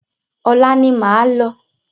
Ọ̀la ni máa lọ.